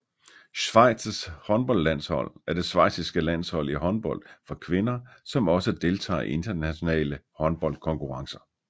Schweizs håndboldlandshold er det schweiziske landshold i håndbold for kvinder som også deltager i internationale håndboldkonkurrencer